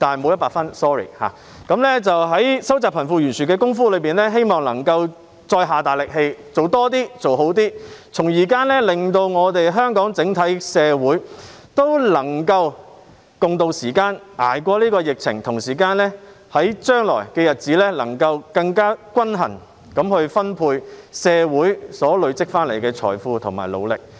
我希望政府能在收窄貧富懸殊方面再努力做得更多、做得更好，令香港整體社會能夠渡過時艱，捱過疫情，並在將來更平均地分配社會努力累積所得的財富。